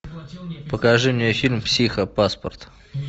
покажи мне фильм психопаспорт